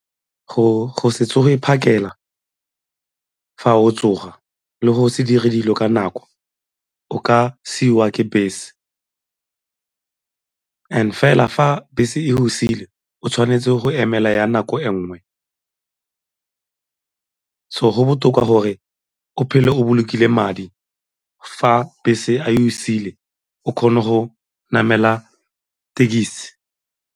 Go se tsoge phakela fa o tsoga le go se dire dilo ka nako o ka siiwa ke bese and fela fa bese e go siile o tshwanetse go emela ya nako e nngwe. So, go botoka gore o phele o bolokile madi fa bese e go siile o kgone go namela tekisi.